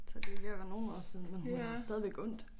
Så det ved at være nogle år siden men hun har stadigvæk ondt